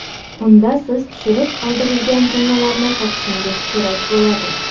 Unda siz tushirib qoldirilgan jumlalarni topishingiz kerak bo‘ladi.